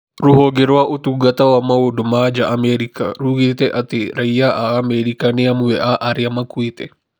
Rũhonge rwa ũtungata wa maũndũ ma nja Amerika rugeete atĩ raia a Amerika nĩ amwe a arĩa makuĩte .